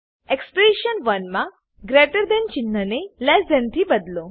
expression 1 મા greater than ચિન્હ ને લેસ થાન થી બદલો